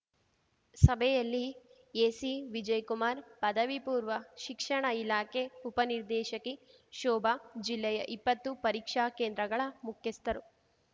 ಸಭೆಯಲ್ಲಿ ಎಸಿ ವಿಜಯ್ ಕುಮಾರ್‌ ಪದವಿಪೂರ್ವ ಶಿಕ್ಷಣ ಇಲಾಖೆ ಉಪನಿರ್ದೇಶಕಿ ಶೋಭಾ ಜಿಲ್ಲೆಯ ಇಪ್ಪತ್ತು ಪರೀಕ್ಷಾ ಕೇಂದ್ರಗಳ ಮುಖ್ಯಸ್ಥರು